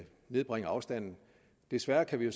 nedbringe afstanden desværre kan vi jo